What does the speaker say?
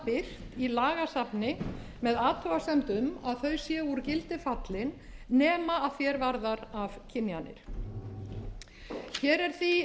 birt í lagasafni með athugasemd um að þau séu fallin úr gildi nema að því er varðar afkynjanir hér er því